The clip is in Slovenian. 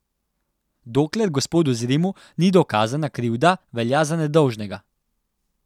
Dokler gospodu Zrimu ni dokazana krivda, velja za nedolžnega.